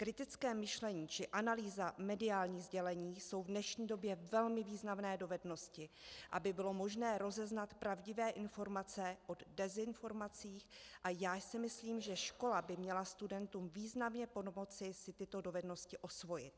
Kritické myšlení či analýza mediálních sdělení jsou v dnešní době velmi významné dovednosti, aby bylo možné rozeznat pravdivé informace od dezinformací, a já si myslím, že škola by měla studentům významně pomoci si tyto dovednosti osvojit.